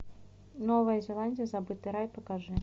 новая зеландия забытый рай покажи